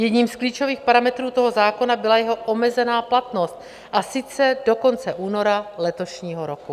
Jedním z klíčových parametrů toho zákona byla jeho omezená platnost, a sice do konce února letošního roku.